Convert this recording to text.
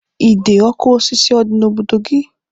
Ide ọkụ osisi ọ dị n'obodo gị?